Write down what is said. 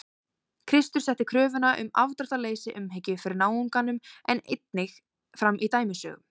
Kristur setti kröfuna um afdráttarlausa umhyggju fyrir náunganum einnig fram í dæmisögum.